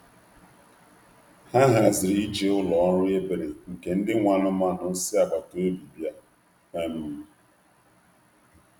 Ha haziri ije ụlọ ọrụ ebere nke ndị nwe anụmanụ si agbata obi bịa. um